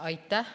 Aitäh!